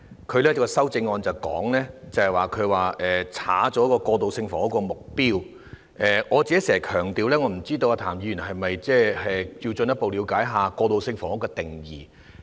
他的修正案刪除了過渡性房屋的目標，不知道譚議員是否需要進一步了解一下過渡性房屋的定義。